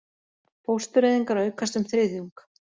Fóstureyðingar aukast um þriðjung